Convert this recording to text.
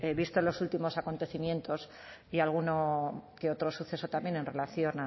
vistos los últimos acontecimientos y alguno que otro suceso también en relación